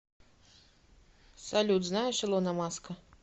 салют знаешь илона маска